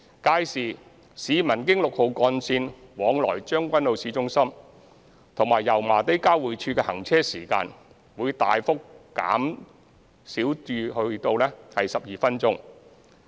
屆時，市民經六號幹線往來將軍澳市中心及油麻地交匯處的行車時間會大幅減少至12分鐘。